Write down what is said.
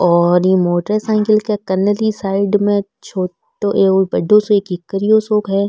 और ई मोटरसाइकल के कन ली साइड में छोटो एक बड़ो सो --